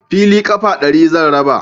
Fili ƙafa ɗari zan raba